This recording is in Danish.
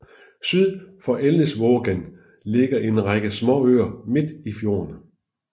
Syd for Elnesvågen ligger en række småøer midt i fjorden